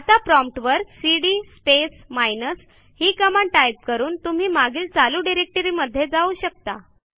आता प्रॉम्प्ट वर CD space minus ही कमांड टाईप करून तुम्ही मागील चालू डिरेक्टरीमध्ये जाऊ शकता